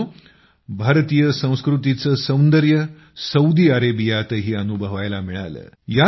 मित्रांनो भारतीय संस्कृतीचं सौदंर्य सौदी अरेबियातही अनुभवायला मिळालं